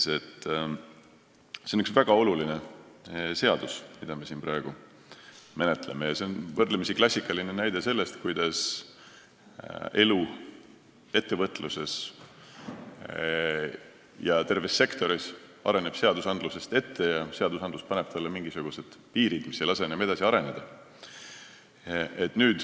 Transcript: See on üks väga oluline seadus, mida me siin praegu menetleme, ja võrdlemisi klassikaline näide sellest, kuidas elu ettevõtluses ja terves sektoris areneb seadusandlusest ette: seadusandlus paneb ette mingisugused piirid, mis ei lase enam edasi areneda.